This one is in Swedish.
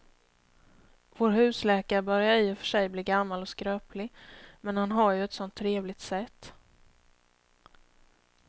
Vår husläkare börjar i och för sig bli gammal och skröplig, men han har ju ett sådant trevligt sätt!